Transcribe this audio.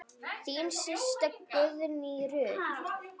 Þín systa, Guðný Ruth.